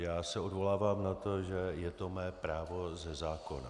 Já se odvolávám na to, že je to mé právo ze zákona.